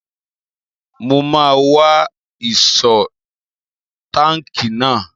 Mo máa wá ìṣó táàkì náà.